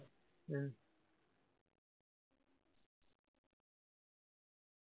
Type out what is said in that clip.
ആ